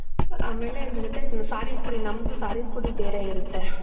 ಆಮೇಲೆ ಅದರ್ ಜೊತೆ ಸಾರಿನ್ ಪುಡಿ. ನಮ್ದು ಸಾರಿನ್ ಪುಡಿ ಬೇರೆ ಇರತ್ತೆ.